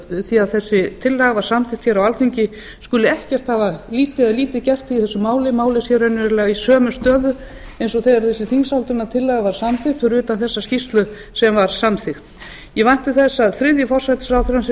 frá því að þessi tillaga var samþykkt hér á alþingi skuli lítið hafa gert í þessu máli málið sé raunverulega í sömu stöðu eins og þegar þessi þingsályktunartillaga var samþykkt fyrir utan þessa skýrslu sem var samþykkt ég vænti þess að þriðji forsætisráðherrann sem